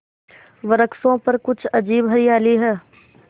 वृक्षों पर कुछ अजीब हरियाली है